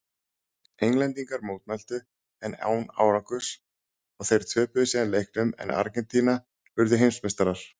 Englendingar mótmæltu en án árangurs og þeir töpuðu síðan leiknum en Argentína urðu heimsmeistarar.